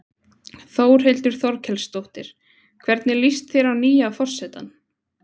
Þórhildur Þorkelsdóttir: Hvernig líst þér á nýja forsetann?